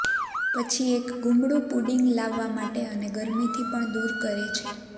પછી એક ગૂમડું પુડિંગ લાવવા માટે અને ગરમીથી પણ દૂર કરે છે